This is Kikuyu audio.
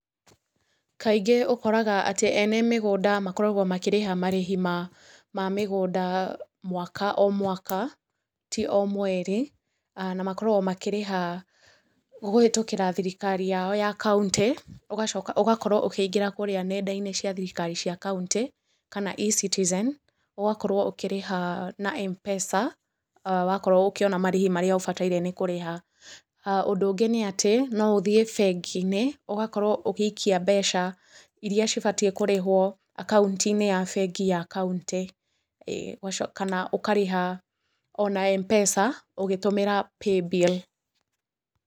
Kaingĩ ũkoraga atĩ ene mĩgũnda makoragwo makĩrĩha marĩhi ma mĩgũnda mwaka o mwaka, ti o mweri, aah na makoragwo makĩrĩha kũhetũkĩra thirikari yao ya kauntĩ, ũgacoka ũgakorwo ũkaingĩra kũrĩa nenda-inĩ cia thirikari cia kauntĩ, kana E-Citizen, ũgakorwo ũkĩrĩha na M-pesa, aah wakorwo ũkĩona marĩhi marĩa ũbataire nĩ kũrĩha, ũndũ ũngĩ nĩatĩ, no ũthĩe lbengi-inĩ, ũgakorwo ũgĩikia mbeca iria cibatiĩ kũrĩhwo, akaunti-inĩ ya bengi ya kauntĩ, ĩĩ ũgaco kana ũkarĩha o na M-pesa, ũgĩtũmĩra Paybill.